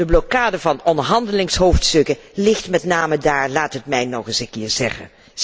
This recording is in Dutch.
De blokkade van onderhandelingshoofdstukken ligt met name daar, laat het mij nog eens een keer